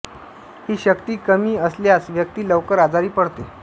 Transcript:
ही शक्ती कमी असस्ल्यास व्यक्ती लवकर आजारी पडते